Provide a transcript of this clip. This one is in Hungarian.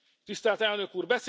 Tisztelt Elnök Úr,